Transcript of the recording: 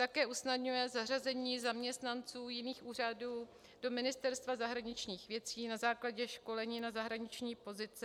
Také usnadňuje zařazení zaměstnanců jiných úřadů do Ministerstva zahraničních věcí na základě školení na zahraniční pozici.